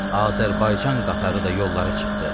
Azərbaycan qatarı da yollara çıxdı.